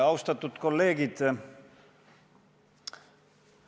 Austatud kolleegid!